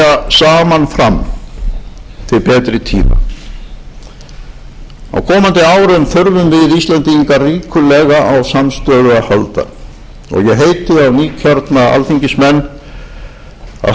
saman fram til betri tíma á komandi árum þurfum við íslendingar ríkulega á samstöðu að halda og ég heiti á nýkjörna alþingismenn að hafa þjóðarheill í huga